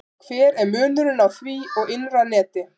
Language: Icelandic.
Hver er munurinn á því og innra neti?